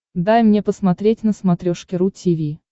дай мне посмотреть на смотрешке ру ти ви